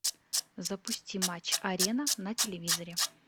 запусти матч арена на телевизоре